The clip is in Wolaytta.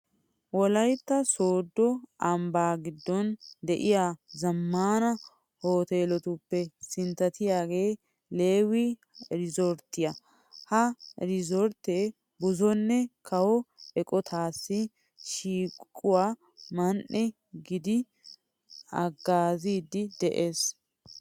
Wolaytta sooddo ambbaa giddon de'iya zammaana hooteeletuppe sinttatiyagee leewii iriizorttiya. Ha iriizorttee buzonne kawo eqotatussi shiiquwa man"e gididi haggaaziiddi de'ees.